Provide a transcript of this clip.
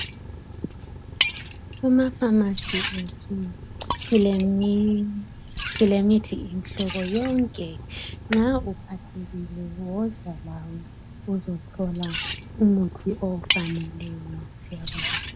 Amafamasi ethu silemithi imihlobo yonke nxa uphathekile woza lawe uzothola umuthi ofaneleyo siyabonga